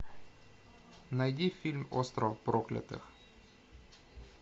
найди фильм остров проклятых